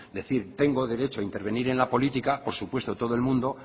decir tengo derecho a intervenir en la política por supuesto todo el mundo